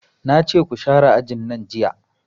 Nace ku share ajin nan jiya